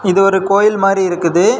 இது ஒரு கோயில் மாதிரி இருக்குது.